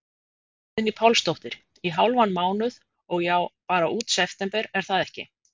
Guðný Pálsdóttir: Í hálfan mánuð, og já, bara út september er það ekki?